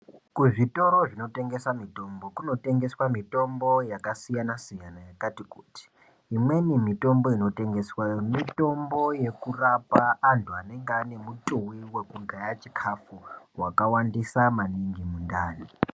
Kuzvitoro zvinotengeswa mitombo kunotengeswa mitombo yakasiyanasiyana yakati kuti imweni mitombo inotengeswa mitombo yekurapa anhu anenge anemutuwi wekugaya chikafu wakawandisa maningi mundani.